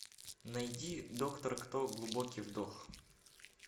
найди доктор кто глубокий вдох